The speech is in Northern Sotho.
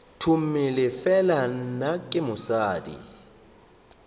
tomele fela nna ke mosadi